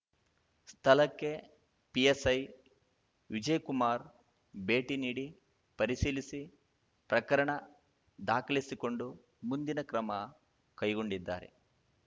ಸ್ಥಳಕ್ಕೆ ಪಿಎಸ್ಐ ವಿಜಯಕುಮಾರ್ ಭೇಟಿ ನೀಡಿ ಪರಿಶೀಲಿಸಿ ಪ್ರಕರಣ ದಾಖಲಿಸಿಕೊಂಡು ಮುಂದಿನ ಕ್ರಮ ಕೈಗೊಂಡಿದ್ದಾರೆ